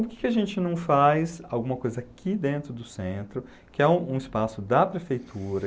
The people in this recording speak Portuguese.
Por que a gente não faz alguma coisa aqui dentro do centro, que é um um espaço da prefeitura?